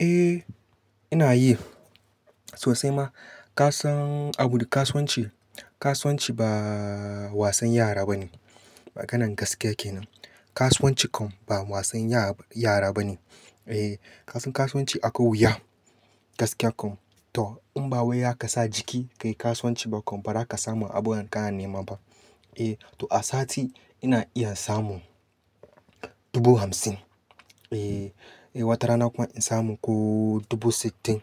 Eh ina yi sosai ma. Ka san abu da kasuwanci? Kasuwanci baaa wasan yara bane. Maganar gaskiya ke nan. Kasuwanci kam ba wasan ya yara ba ne. Eh kasan kasuwanci akwai wuya gaskiya ko to in ba wai zaka sa jiki kai kasuwanci ba kam, ba za ka samu abun da kana nema ba. Eh to a sati ina iya samun dubu hamsin eh. Sai wata rana kuma in samu ko dubu sittin.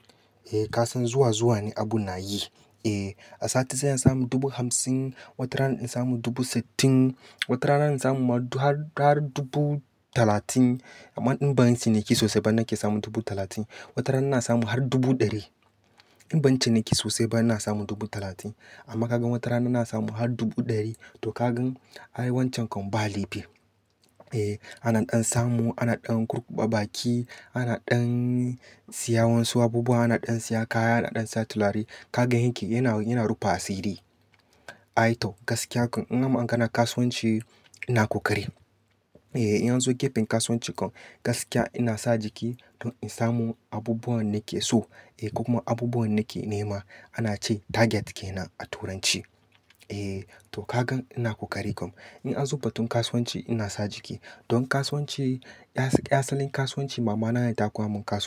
Eh kasan zuwa zuwa ne abun nayi eh a sati sai in samu dubu hamsin watarana in samu dubu sittin watarana in samu ma har dubu talatin. Amman in banyi ciniki sosaiba nake samu dubu talatin. Wata rana na samu har dubu ɗari. In ban ciniki sosai ba ina samun dubu talatin. Amma kaga wata rana jna samu har dubu ɗari. To ka gan ai wancan kam balaipi. Eh ana ɗan samu, ana ɗan kurkuba baki, ana ɗan siyan wasu abubuwa, ana ɗan siya kaya, ana ɗan siya tulare. Kaga yanke yana, yana rufa asiri. Ai to gaskiya kam in an maganan kasuwanci ina ƙoƙari. Eh in anzo gefen kasuwanci kan gaskiya inasa jiki don in samu abubuwan da nake so ko kuma abubuwan danake nema. Ana ce target kenan a turanci. Eh to kagan ina kokati kam. In an zo batun kasuwanci ina sa jiki. Don kasuwanci as asalin kasuwanci mamana ne ta koya min ka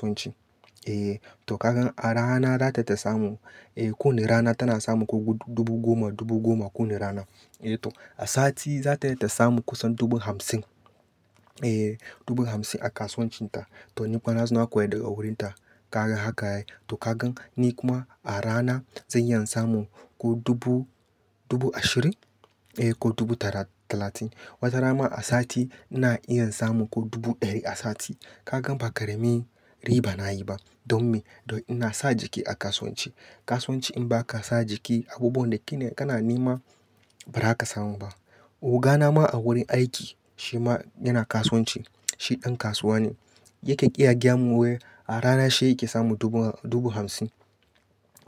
eh to kagan a rana da tata samu eh ko wani rana tana samu ko dubu goma dubu goma kowane rana eh to a sati zata iya ta samu kusan dubu hamsin. Eh dubu hamsin a kasuwancin ta. To ni kuma na zo na koya duk a wurin ta. Kaga haka yake. To ka gan ni kuma a rana zan iya in samu ko dubu, dubu ashirin eh ko dubu tara-- talatin. Wata rana ma a sati ina iya samun ko dubu ɗari a sati. Ka gan ba ƙaramin riba na yi ba. Don me? Don ina sa jiki a kasuwanci. Kasuwanci in ba ka sa jiki abubuwan da kene kana nema ba ra ka samu ba. Oga na ma a wurin aiki shi ma yana kasuwanci. Shi ɗan kasuwa ne. Yakan iya gayamun we. A rana shi yake samun dubu, dubu hamsin.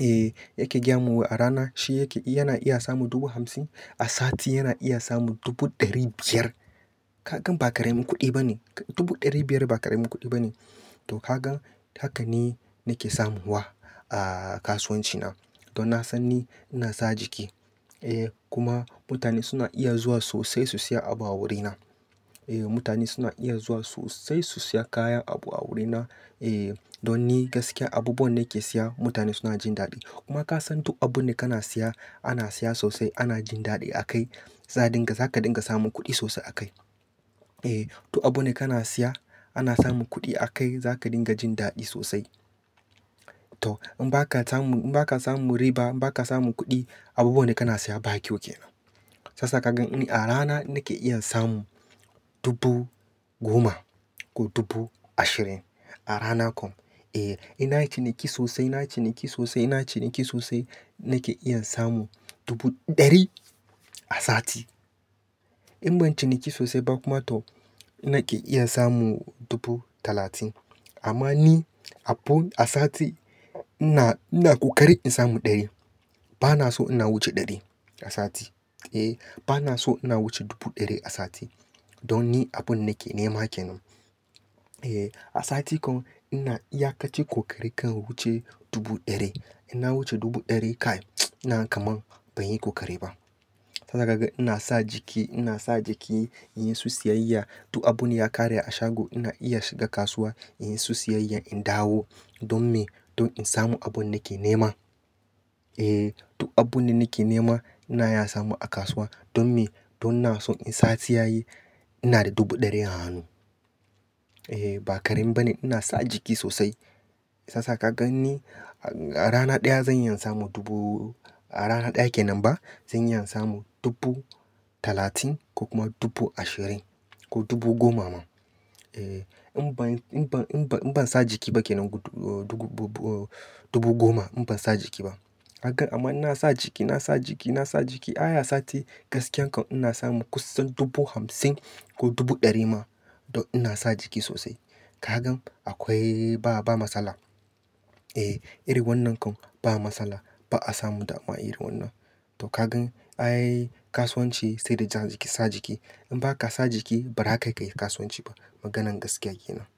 Eh yake gayamun wai. A rana shi yake, yana iya samun dubu hamsin. A sati yana iya samun dubu ɗari biyar. Ka gan ba ƙaramin kuɗi ba ne. Dubu ɗari biyar ba ƙaramin kuɗi ba ne. To ka gan haka ni nake samuwa a kasuwanci na. To na san ni ina sa jiki. Eh kuma mutane suna iya zuwa sosai su siya abu a wurina. Eh mutane suna iyan zuwa sosai su siya kayan, abu a wurina. Eh don ni gaskiya abubuwan nake siya mutane suna jin daɗi. Kuma kasan duk abun da kana siya ana saya sosai ana jin dadi a kai za a dinga zaka dinga samun kudi sosai a kai. Eh duk abun da kana siya ana samun kuɗi akai za ka dinga jin daɗi sosai. To in ba ka samun, in ba ka samun riba, in ba ka samun kuɗi abubuwan da kana siya ba kyau kenan. Shi yasa ka gan ni a rana nake iya in samu dubu goma ko dubu ashirin. A rana kam e. Eh ina ciniki sosai, ina ciniki sosai, ina ciniki sosai nake iya samun dubu ɗari a sati. In ban ciniki sosai ba kuma to nake iya samun dubu talatin. Amma ni abun a sati ina, ina ƙoƙari in samu ɗari. Ba na so ina wuce ɗari a sati. Eh ba na so ina wuce dubu ɗari a sati. Don ni abun da nake nema kenan. Eh a sati kam ina iya kaci ƙoƙari kan wuce dubu ɗari. Inna wuce dubu ɗari kai ina ga kaman ban yi ƙoƙari ba. Shi yasa ka ga ina sa jiki, ina sa jiki in yi su siyayya. Duk abun ya ƙare a shago ina iya shiga kasuwa in yi su siyayya in dawo. Don me? Don in samu abun nake nema. Eh duk abun da nake nema ina iya samu a kasuwa. Don me? Don ina so in sati yayi ina da dubu ɗari a hannu. Eh ba ƙarin bane ina sa jiki sosai. Sasa ka gan ni a rana ɗaya zan iya samun dubu a rana ɗaya kenan ba zan iya in samun dubu talatin ko kuma dubu ashirin ko dubu goma ma. Eh in ban, in ban, in ban, in ban sa jiki bake nan dubu goma. In ban sa jiki ba. Ka gan amma ina sa jiki, nasa jiki, nasa jiki. Ai a sati gaskiya kam ina samu kusan dubu hamsin ko dubu ɗari ma don ina sa jiki sosai. Ka gan akwai ba, ba matsala. Eh iri wannan kam ba matsala. Ba'a samun damuwa irin wannan. To kagan ai kasuwanci saida ja jiki, sa jiki. In baka sa jiki barakai kayi kasuwanci ba. Maganar gaskiya ke nan.